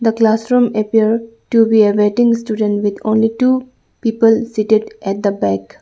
the classroom appear to be a waiting student with only two people seated at the back.